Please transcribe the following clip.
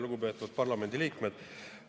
Lugupeetud parlamendiliikmed!